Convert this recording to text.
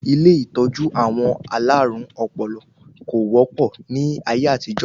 Ilé ìtọ́jú àwọn alárùn ọpọlọ kò wọ́pọ̀ ní ayé àtijó